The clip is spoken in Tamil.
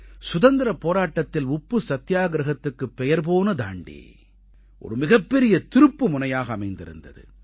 சுதந்திரப் போராட்டத்தில் உப்பு சத்தியாகிரஹத்துக்குப் பெயர் போன தாண்டீ ஒரு மிகப்பெரிய திருப்புமுனையாக அமைந்திருந்தது